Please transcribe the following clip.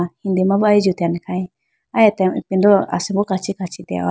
hindi ma bo aya jutene khayi aya atembo ipindolo asimbo kachi kachi dehowa.